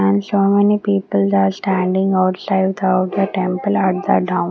and so many peoples are standing outside the outer temple at the down.